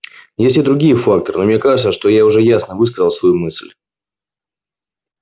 есть и другие факторы но мне кажется что я уже ясно высказал свою мысль